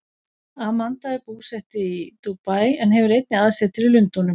Amanda er búsett í Dúbaí en hefur einnig aðsetur í Lundúnum.